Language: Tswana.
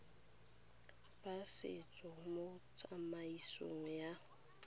ba setso mo tsamaisong ya